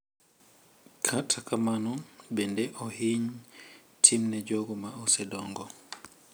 Kata kamano bende ohiny timne jogo ma osedongo.